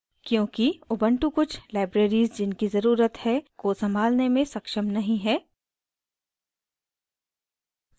क्योंकि ubuntu कुछ libraries जिनकी ज़रुरत है को सँभालने में सक्षम नहीं है